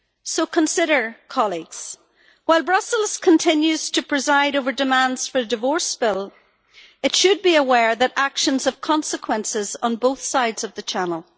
So consider, colleagues, while Brussels continues to preside over demands for the divorce bill, it should be aware that actions have consequences on both sides of the Channel.